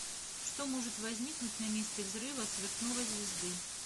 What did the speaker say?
что может возникнуть на месте взрыва сверхновой звезды